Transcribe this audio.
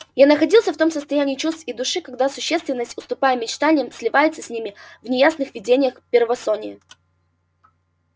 я находился в том состоянии чувств и души когда существенность уступая мечтаниям сливается с ними в неясных видениях первосония